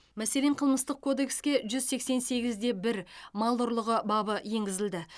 мәселен қылмыстық кодекске жүз сексен сегізде бір мал ұрлығы бабы енгізілді